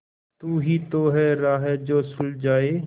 तू ही तो है राह जो सुझाए